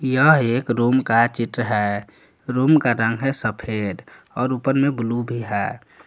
यह एक रूम का चित्र है रूम का रंग है सफेद और ऊपर में ब्लू भी है।